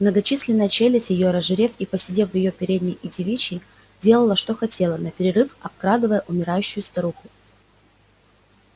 многочисленная челядь её разжирев и поседев в её передней и девичьей делала что хотела наперерыв обкрадывая умирающую старуху